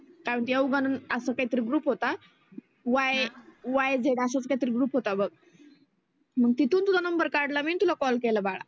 कारण देवगन आसा काही तरी ग्रुप होता. YYZ असाच काही तरी ग्रुप होता बघ. मग तिथुन तुझा नंबर काढला मी आन तुला कॉल केला बाळा.